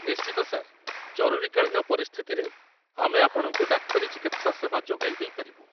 ନିଶ୍ଚିତ, ସାର୍। ଜରୁରୀକାଳୀନ ପରିସ୍ଥିତିରେ ଆମେ ଆପଣଙ୍କୁ ଡାକ୍ତରୀ ଚିକିତ୍ସା ସେବା ଯୋଗାଇ ଦେଇପାରିବୁ।